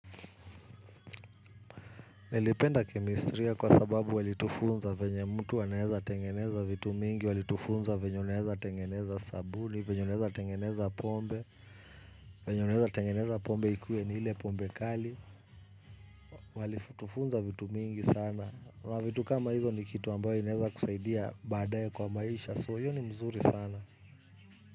Nilipenda kemistria kwa sababu walitufunza vyenye mtu wanaweza tengeneza vitu mingi, walitufunza vyenye unaweza tengeneza sabuni, vyenye unaweza tengeneza pombe, vyenye unaweza tengeneza pombe ikuwe ni ile pombe kali, walitufunza vitu mingi sana, mavitu kama hizo ni kitu ambayo inaweza kusaidia badaee kwa maisha, so hiyo ni mzuri sana.